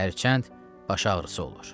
Hərçənd baş ağrısı olur.